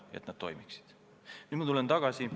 Nüüd ma lähen oma jutuga tagasi.